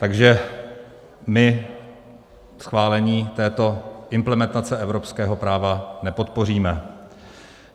Takže my schválení této implementace evropského práva nepodpoříme.